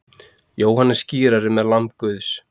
Jóhannes skírari með lamb Guðs.